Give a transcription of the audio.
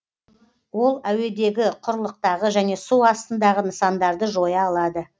ол әуедегі құрлықтағы және су астындағы нысандарды жоя алады